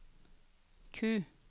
Q